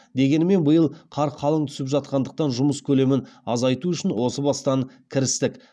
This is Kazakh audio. дегенмен биыл қар қалың түсіп жатқандықтан жұмыс көлемін азайту үшін осы бастан кірістік